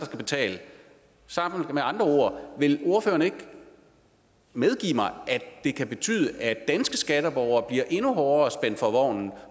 skal betale sagt med andre ord vil ordføreren ikke medgive mig at det kan betyde at danske skatteborgere bliver endnu hårdere spændt for vognen